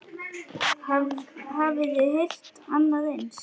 Hafiði heyrt annað eins?